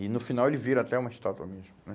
E no final ele vira até uma estátua mesmo, né?